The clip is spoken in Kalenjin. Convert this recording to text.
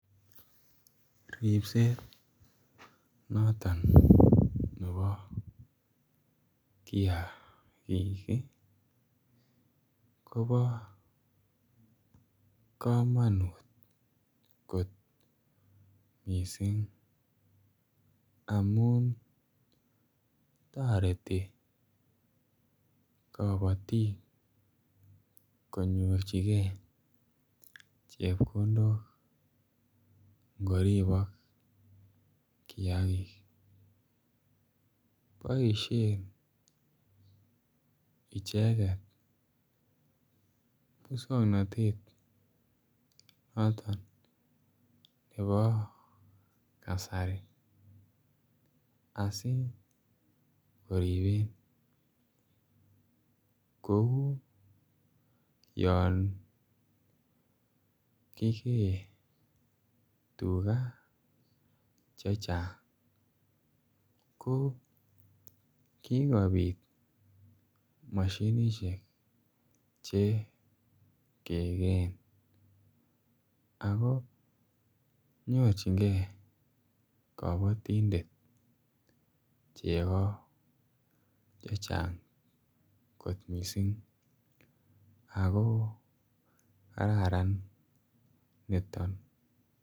Ribset noton nebo kiagik ii kobo komonut kot missing amun toreti kobotik konyorjigee chepkondok ngo ribok kiagik. Boishen icheget muswongnotet noton nebo kasari asi koriben kouu yon kigee tuga chechang ko kikopit moshinishek che kegeen ako nyorjigee kobotindet chego chechang kot missing ako kararan niton